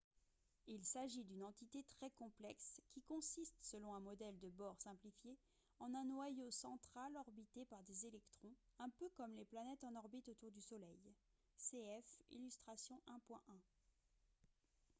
il s'agit d'une entité très complexe qui consiste selon un modèle de bohr simplifié en un noyau central orbité par des électrons un peu comme les planètes en orbite autour du soleil cf illustration 1.1